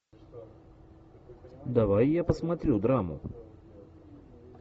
давай я посмотрю драму